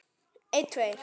Ég var að kafna.